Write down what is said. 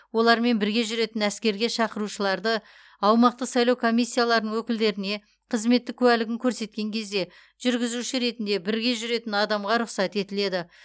олармен бірге жүретін әскерге шақырылушыларды аумақтық сайлау комиссияларының өкілдеріне қызметтік куәлігін көрсеткен кезде жүргізуші ретінде бірге жүретін адамға рұқсат етіледі